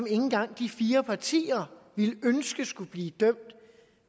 engang de fire partier ville ønske skulle blive dømt